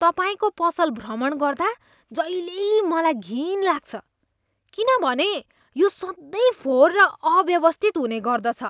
तपाईँको पसल भ्रमण गर्दा जहिल्यै मलाई घिन लाग्छ किनभने यो सधैँ फोहोर र अव्यवस्थित हुने गर्दछ।